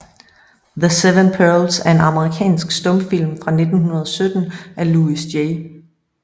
The Seven Pearls er en amerikansk stumfilm fra 1917 af Louis J